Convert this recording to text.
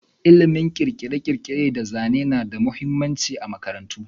Ilimin kere-kere da zane na da mahimmanci a makarantu.